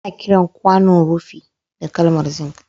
Ana kiran kwanaon rufi da kalmar zink